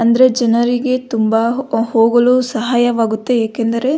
ಅಂದ್ರೆ ಜನರಿಗೆ ತುಂಬ ಹೋಗಲು ಸಹಾಯವಾಗುತ್ತೆ ಏಕೆಂದರೆ --